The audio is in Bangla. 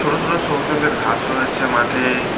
ছোট ছোট সবুজ রংগের ঘাস রয়েছে মাঠে-এ।